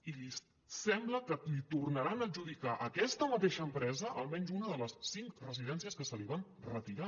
i sembla que li tornaran a adjudicar a aquesta mateixa empresa almenys una de les cinc residències que se li van retirar